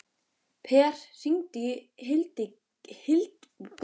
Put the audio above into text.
Per, hringdu í Hildigunni.